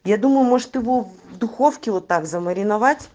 я думаю может его в духовке вот так замариновать